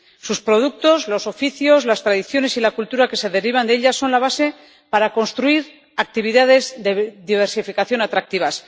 Sus productos, los oficios, las tradiciones y la cultura que se derivan de ella son la base para construir actividades de diversificación atractivas.